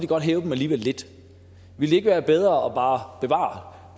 godt hæve dem lidt ville det ikke være bedre bare at bevare